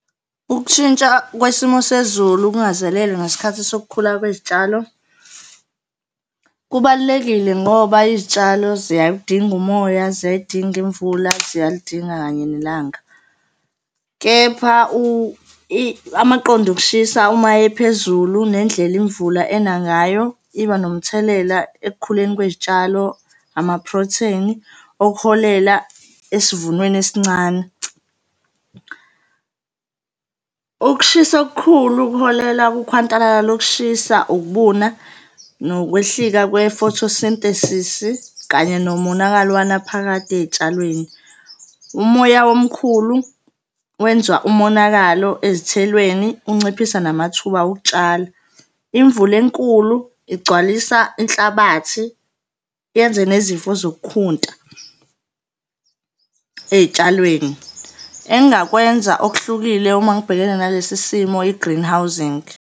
Ukushintsha kwesimo sezulu kungazelelwe ngesikhathi sokukhula kwezitshalo kubalulekile ngoba izitshalo ziyawudinga umoya, ziyayidinga imvula, ziyalidinga kanye nelanga. Kepha amaqonda okushisa uma ephezulu nendlela imvula ena ngayo iba nomthelela ekukhuleni kwezitshalo, amaprotheni okuholela esivunweni esincane. Ukushisa okukhulu kuholela kukhwantalala lokushisa, ukubuna, nokwehlika kwe-photosynthesis-i kanye nomonakalo wanaphakade ey'tshalweni. Umoya omkhulu wenza umonakalo ezithelweni, unciphisa namathuba okutshala. Imvula enkulu igcwalisa inhlabathi yenze nezifo zokukhunta ey'tshalweni. Engingakwenza okuhlukile uma ngibhekene nalesi simo i-greenhousing.